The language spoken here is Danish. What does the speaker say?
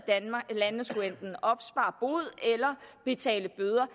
landene enten skulle opspare bod eller betale bøder